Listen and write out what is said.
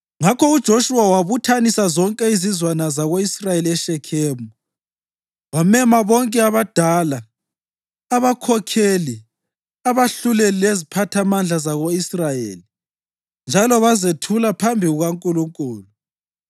Ngakho uJoshuwa wabuthanisa zonke izizwana zako-Israyeli eShekhemu. Wamema bonke abadala, abakhokheli, abahluleli leziphathamandla zako-Israyeli, njalo bazethula phambi kukaNkulunkulu.